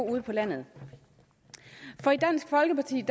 ude på landet for i dansk folkeparti